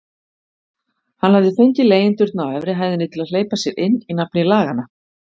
Hann hafði fengið leigjendurna á efri hæðinni til að hleypa sér inn í nafni laganna.